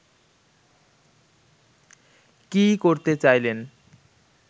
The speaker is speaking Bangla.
কী করতে চাইলেন